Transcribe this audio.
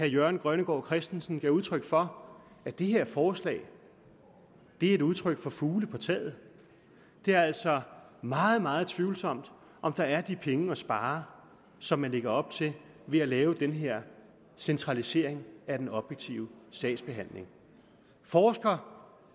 jørgen grønnegård christensen gav udtryk for at det her forslag er et udtryk for fugle på taget det er altså meget meget tvivlsomt om der er de penge at spare som man lægger op til ved at lave den her centralisering af den objektive sagsbehandling forsker